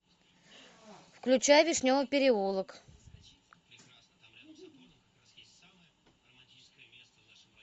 включай вишневый переулок